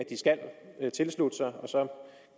at tilslutte sig og så